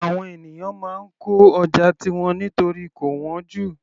Àwọn ènìyàn máa ń kọ́ ọjà tiwọn nítorí kò wọ́n jù